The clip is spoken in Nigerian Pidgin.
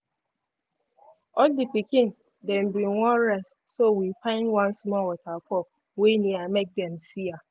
all the pikin dem been wan rest so we find one small waterfall wey near make dem see am.